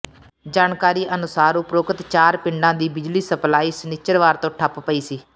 ਜਾਣਕਾਰੀ ਅਨੁਸਾਰ ਉਪਰੋਕਤ ਚਾਰ ਪਿੰਡਾਂ ਦੀ ਬਿਜਲੀ ਸਪਲਾਈ ਸ਼ਨਿਚਰਵਾਰ ਤੋਂ ਠੱਪ ਪਈ ਸੀ